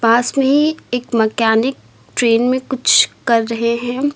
पास में ही एक मैकेनिक ट्रेन में कुछ कर रहे हैं।